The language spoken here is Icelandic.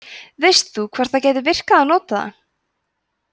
veist þú hvort það gæti virkað að nota það